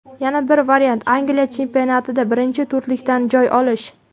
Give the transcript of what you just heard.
Yana bir variant Angliya chempionatida birinchi to‘rtlikdan joy olish.